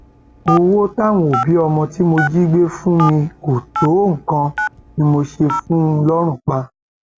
owó táwọn òbí ọmọ tí mo jí gbé fún mi kò tó nǹkan ni mo ṣe fún un lọrùn pa